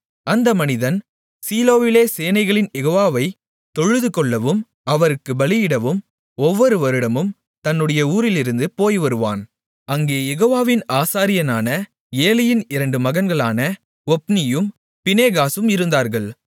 அந்த மனிதன் சீலோவிலே சேனைகளின் யெகோவாவை தொழுதுகொள்ளவும் அவருக்குப் பலியிடவும் ஒவ்வொரு வருடமும் தன்னுடைய ஊரிலிருந்து போய்வருவான் அங்கே யெகோவாவின் ஆசாரியரான ஏலியின் இரண்டு மகன்களான ஒப்னியும் பினெகாசும் இருந்தார்கள்